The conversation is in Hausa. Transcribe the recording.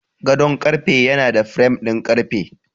Gadon karfe yana da firam ɗin ƙarfe.